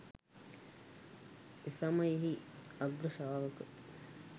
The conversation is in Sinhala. එසමයෙහි අග්‍රශාවක